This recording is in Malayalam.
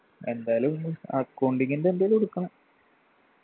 എന്തായാലും ഒന്നും accounting ൻ്റെ എന്തേലും എടുക്കണം